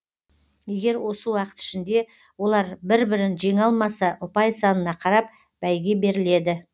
егер осы уақыт ішінде олар бір бірін жеңе алмаса ұпай санына қарап бәйге беріледі